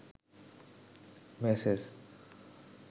message